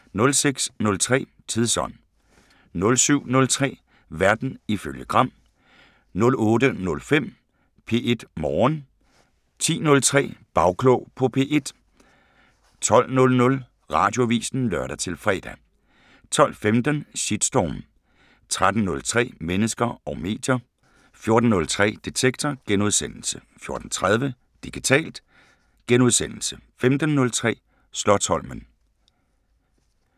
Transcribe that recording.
06:03: Tidsånd 07:03: Verden ifølge Gram 08:05: P1 Morgen 10:03: Bagklog på P1 12:00: Radioavisen (lør-fre) 12:15: Shitstorm 13:03: Mennesker og medier 14:03: Detektor * 14:30: Digitalt * 15:03: Slotsholmen